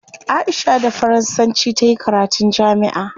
Aisha da faransanci tayi karatun jami'a